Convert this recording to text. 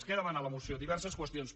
què demana la moció diverses qüestions